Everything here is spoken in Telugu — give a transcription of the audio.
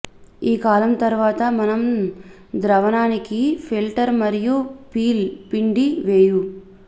ఈ కాలం తరువాత మనం ద్రావణానికి ఫిల్టర్ మరియు పీల్ పిండి వేయు